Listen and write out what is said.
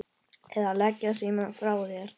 eða Leggðu símann frá þér!